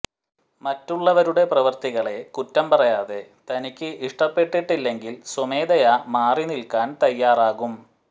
മറ്റുള്ളവരുടെ പ്രവര്ത്തികളെ കുറ്റം പറയാതെ തനിക്ക് ഇഷ്ടപ്പെട്ടിട്ടില്ലെങ്കിൽ സ്വമേധയാ മാറി നിൽക്കാൻ തയ്യാറാകും